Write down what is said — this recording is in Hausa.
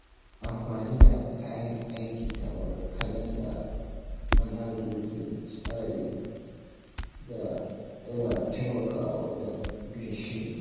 Amfani da kayan aiki kamar kalanda da manhajojin tsari yana taimakawa wajen bin shiri.